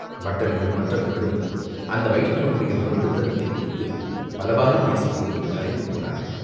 பட்டர்களும் மற்றவர்களும் அந்த வைஷ்ணவனுடைய முரட்டுத்தனத்தைக் குறித்துப் பலவாறு பேசிக்கொண்டு கலைந்து போனார்கள்.